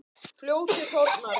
Fljótið þornar.